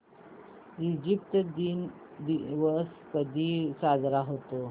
Egypt दिवस कधी साजरा होतो